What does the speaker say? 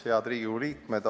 Head Riigikogu liikmed!